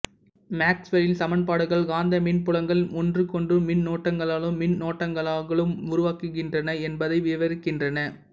மேக்சுவெல்லின் சமன்பாடுகள் காந்த மின் புலங்கள் ஒன்றுக்கொன்றும் மின்னூட்டங்களாலும் மின்னோட்டங்களாலும் உருவாகின்றன என்பதை விவரிக்கின்றன